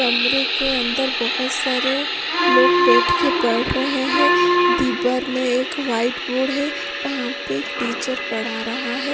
कमरे के अंदर बहुत सारे लोग बैठ के पढ़ रहे हैं बीबर में एक वाइट बोर्ड है वहां पे टीचर पढ़ा रहा है।